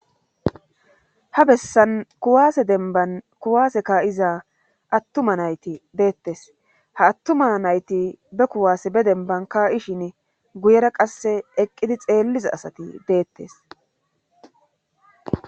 Ha bessan kuwaase denban kuwaaseka'iza attuma nayti deettes haattuma nayti bekuwaase be denbanka'ishin guyera qasse eqqidi xeelliza asati deettes.